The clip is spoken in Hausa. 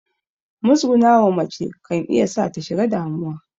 Muzgunawa mace kan sa ta shiga damuwa